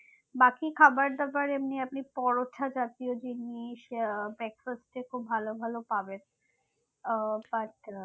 বাকি খাবার দাবার এমনি আপনি আপনি পরোটা জাতীয় জিনিস আহ breakfast এ খুব ভালো ভালো পাবেন ও but আহ